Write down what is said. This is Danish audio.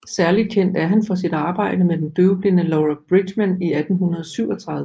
Særligt kendt er han for sit arbejde med den døvblinde Laura Bridgman i 1837